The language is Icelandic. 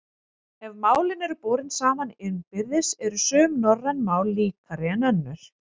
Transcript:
Ef málin eru borin saman innbyrðis eru sum norræn mál líkari en önnur.